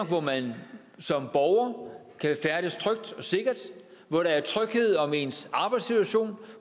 hvor man som borger kan færdes trygt og sikkert hvor der er tryghed om ens arbejdssituation